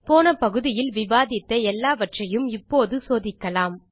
போன பகுதியில் விவாதித்த எல்லாவறையும் இப்போது சோதிக்கலாம்